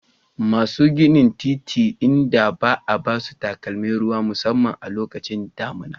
Masu ginin titi inda ba a ba su takalmin ruwan sama a lokacin damina